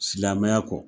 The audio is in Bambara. Silamɛmɛya kɔ